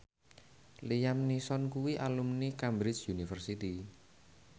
Liam Neeson kuwi alumni Cambridge University